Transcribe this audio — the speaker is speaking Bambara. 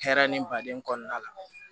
Hɛrɛ ni baden kɔnɔna la